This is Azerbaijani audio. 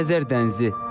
Xəzər dənizi.